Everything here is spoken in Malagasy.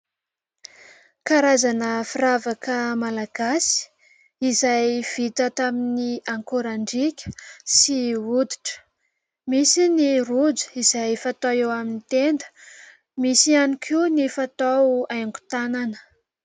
Karazana firavaka malagasy izay vita tamin'ny akorandriaka sy hoditra. Misy ny rojo izay fatao eo amin'ny tenda, misy ihany koa ny fatao haingon-tanana.